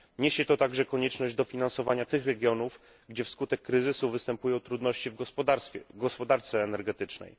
Niesie to także konieczność dofinansowania tych regionów, gdzie wskutek kryzysu występują trudności w gospodarce energetycznej.